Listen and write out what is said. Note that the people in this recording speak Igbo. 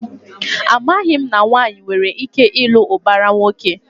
Amaghị m na nwaanyị nwere ike ịlụ ụbara nwoke.